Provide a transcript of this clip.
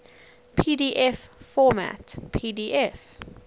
pdf format pdf